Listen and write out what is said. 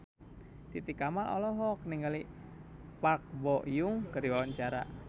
Titi Kamal olohok ningali Park Bo Yung keur diwawancara